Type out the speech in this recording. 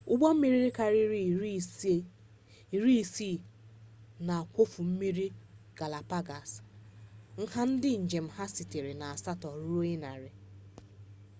ụgbọ mmiri karịrị iri isii na-akwọfe mmiri galapagos nha ndị njem ha sitere na asatọ ruo narị